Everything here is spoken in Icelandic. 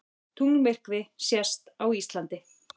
Tunglmyrkvi sést á Íslandi